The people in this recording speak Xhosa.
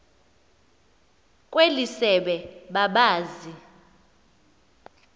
kweli sebe babazi